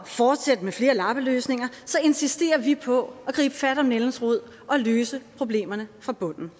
fortsætte med flere lappeløsninger insisterer vi på at gribe fat om nældens rod og løse problemerne fra bunden